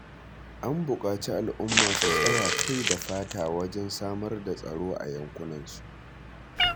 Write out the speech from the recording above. An buƙaci al'umma su tsaya kai da fata wajen samar da tsaro a yankunansu